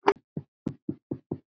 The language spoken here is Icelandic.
Getum, getum við eitthvað hjálpað?